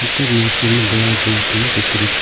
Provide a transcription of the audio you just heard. ಮತ್ತು ಮೂರ್ತಿಯು ದೇವರ ಮೂರ್ತಿಯನ್ನು ಇಕ್ಕಿರುತ್ತಾರೆ.